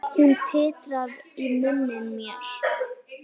Hún titrar í munni mér.